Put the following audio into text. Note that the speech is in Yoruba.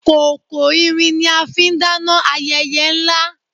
Kòkò irin ni a fi ń dáná ayẹyẹ ńlá